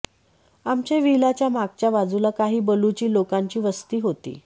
आमच्या व्हिला च्या मागच्या बाजूला काही बलूची लोकांची वस्ती होती